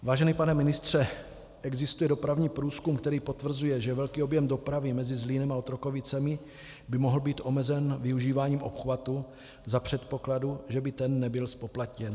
Vážený pane ministře, existuje dopravní průzkum, který potvrzuje, že velký objem dopravy mezi Zlínem a Otrokovicemi by mohl být omezen využíváním obchvatu za předpokladu, že by ten nebyl zpoplatněn.